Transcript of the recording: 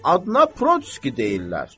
Adına protski deyirlər.